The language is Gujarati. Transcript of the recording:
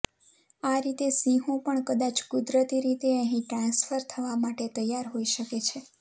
આ રીતે સિંહો પણ કદાચ કુદરતી રીતે અહીં ટ્રાન્સફર થવા માટે તૈયાર હોઈ શકે છે